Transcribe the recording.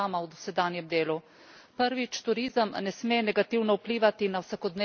Prvič, turizem ne sme negativno vplivati na vsakodnevno življenje prebivalcev.